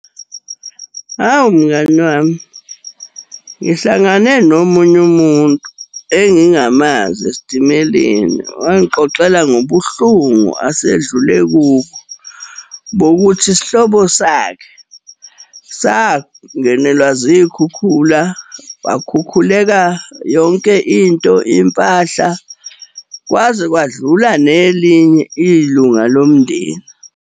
Hhawu mngani wami, ngihlangane nomunye umuntu engingamazi esitimeleni wangixoxela ngobuhlungu asedlule kubo, bokuthi isihlobo sakhe sangenelwa zikhukhula. Kwakhukhuleka yonke into, impahla, kwaze kwadlula nelinye ilunga lomndeni.